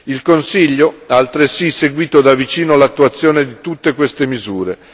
Il Consiglio ha altresì seguito da vicino l'attuazione di tutte queste misure.